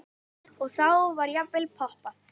Og þá var jafnvel poppað.